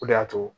O de y'a to